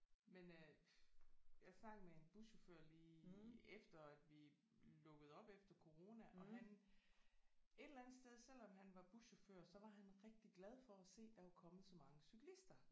Men øh jeg snakkede med en buschauffør lige efter at vi lukkede op efter corona og han et eller andet sted selvom han var buschauffør så var han rigtig glad for at se der var kommet så mange cyklister